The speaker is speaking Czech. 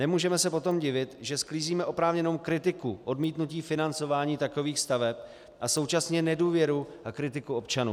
Nemůžeme se potom divit, že sklízíme oprávněnou kritiku odmítnutí financování takových staveb a současně nedůvěru a kritiku občanů.